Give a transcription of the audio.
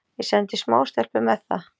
Ég sendi smástelpu með það.